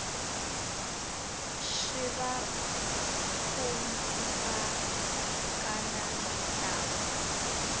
swi va khumbhaka na mintlawa